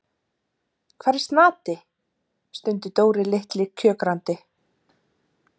Hvar er Snati? stundi Dóri litli kjökrandi.